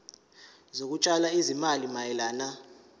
zokutshala izimali mayelana